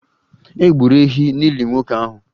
E gburu ehi n'ili nwoke ahụ?